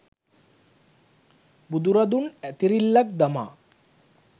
බුදුරදුන් ඇතිරිල්ලක් දමා